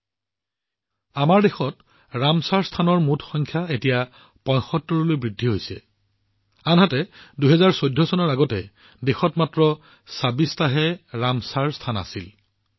এতিয়া আমাৰ দেশত ৰামচৰ স্থানৰ মুঠ সংখ্যা ৭৫ লৈ বৃদ্ধি হৈছে আনহাতে ২০১৪ চনৰ পূৰ্বে দেশত মাত্ৰ ২৬টা ৰামচৰ স্থান আছিল